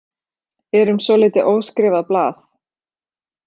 Erum svolítið óskrifað blað